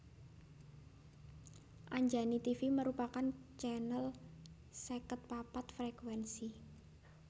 Anjani Tivi merupakan channel seket papat frekuensi